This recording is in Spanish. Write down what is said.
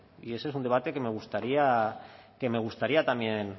y ese es un debate que me gustaría también